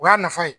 O y'a nafa ye